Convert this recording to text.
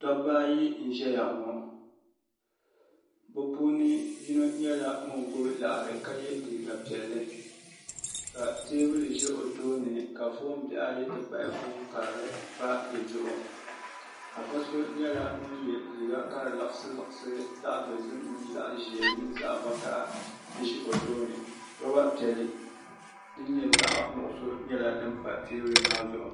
dabba ayi n-ʒeya ŋɔ bɛ puuni yino nyɛla ŋun gbubi laɣiri ka ye liiga piɛlli ka teebuli ʒi o tooni ka foon bihi ayi ti pahi foon karili pa di zuɣu afa so nyɛla ŋun ye liiga ka di liɣisi liɣisi zaɣ' dozim mini zaɣ' ʒee minu zaɣ' vakaha ʒe o tooni loba piɛlli din nyɛ zaɣ' nuɣisɔ nyɛla din pa teebuli maa zuɣu.